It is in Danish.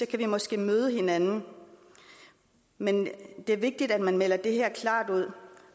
kan vi måske møde hinanden men det er vigtigt at man melder det her klart ud